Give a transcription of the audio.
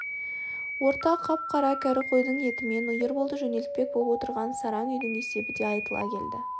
орта қап-қара кәрі қойдың етімен ерболды жөнелтпек боп отырған сараң үйдің есебі де айтыла келді